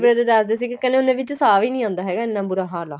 ਮੈਨੂੰ ਦੱਸਦੇ ਸੀਗੇ ਕਹਿਨੇ ਹੁੰਨੇ ਏ ਵੀ ਸ਼ਾਹ ਵੀ ਨੀਂ ਆਉਂਦਾ ਹੈਗਾ ਇੰਨਾ ਬੁਰਾ ਹਾਲ ਏ